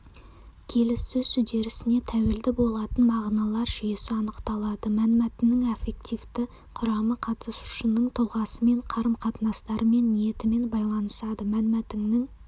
келіссөз үдерісіне тәуелді болатын мағыналар жүйесі анықталады мәнмәтіннің аффективті құрамы қатысушының тұлғасымен қарым-қатынастарымен ниетімен байланысады мәнмәтіннің